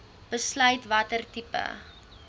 besluit watter tipe